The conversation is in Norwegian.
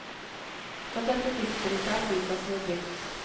Fra dette tidspunktet er flyplassen i drift.